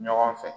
Ɲɔgɔn fɛ